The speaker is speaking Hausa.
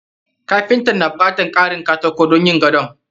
Kapintan na bukatan karin kataki don yin gadon.